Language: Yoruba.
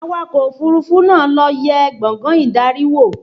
Awakọ̀ òfúrufú náà lọ yẹ gbàngán ìdarí wò